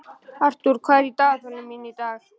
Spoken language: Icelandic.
Arthur, hvað er í dagatalinu í dag?